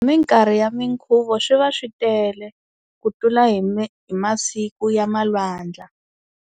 Minkarhi ya mikhuvo swi va swi tele ku tlula hi hi masiku ya malwandla.